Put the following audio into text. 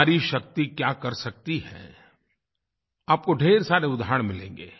नारी शक्ति क्या कर सकती है आपको ढ़ेर सारे उदाहरण मिलेंगे